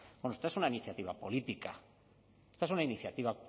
bueno esto es una iniciativa política esto es una iniciativa